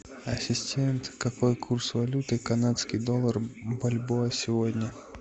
ассистент какой курс валюты канадский доллар бальбоа сегодня